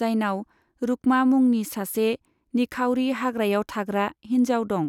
जायनाव रुक्मा मुंनि सासे निखावरि हाग्रायाव थाग्रा हिनजाव दं।